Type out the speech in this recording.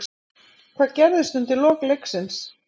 Hvað gerðist undir lok leiksins?